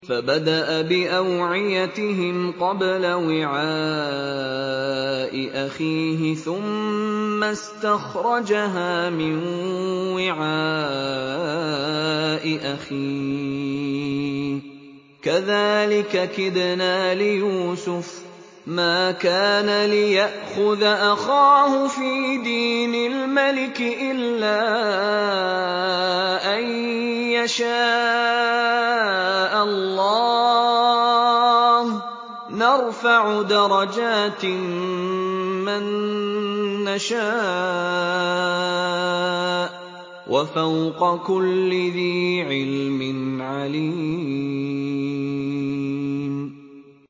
فَبَدَأَ بِأَوْعِيَتِهِمْ قَبْلَ وِعَاءِ أَخِيهِ ثُمَّ اسْتَخْرَجَهَا مِن وِعَاءِ أَخِيهِ ۚ كَذَٰلِكَ كِدْنَا لِيُوسُفَ ۖ مَا كَانَ لِيَأْخُذَ أَخَاهُ فِي دِينِ الْمَلِكِ إِلَّا أَن يَشَاءَ اللَّهُ ۚ نَرْفَعُ دَرَجَاتٍ مَّن نَّشَاءُ ۗ وَفَوْقَ كُلِّ ذِي عِلْمٍ عَلِيمٌ